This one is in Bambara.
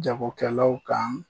Jagokɛlaw kan